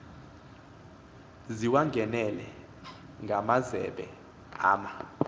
ziwangenele ngamazembe ama